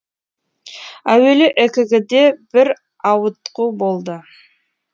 әуелі экг де бір ауытқу болды